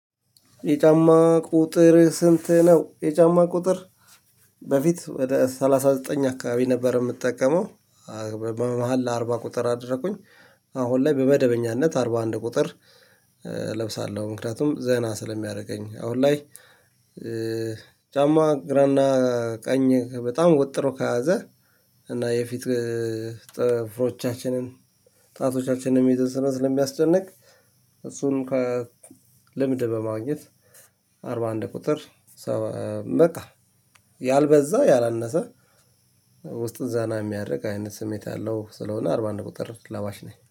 የጫማ ቁጥር ስንት ነው? የጫማ ቁጥር በፊት ወደ ሰላሳ ዘጠኝ አካባቢ ነበር የምጠቀመው። መሃል ለአርባ ቁጥር አደረኩኝ። አሁን ላይ በመደበኛነት አርባ አንድ ቁጥር እለብሳለሁ። ምክንያቱም ዘና ስለሚያደርገኝ አሁን ላይ። ጫማ ግራና ቀኝ በጣም ወጥሮ ከያዘ። እና የፊት ጥፍሮቻችንን ጣቶቻችንንም እየተሰራን ለሚያስጨንቅ እሱንም ከለምድብ በማግኘት። አርባ አንድ ቁጥር። በቃ ያልበዛ ያላነሰ ውስጡ ዘና ሚያደረግ አይነት ስሜት አለው። ስለሆነ አርባ አንድ ቁጥር ለባሽ ነኝ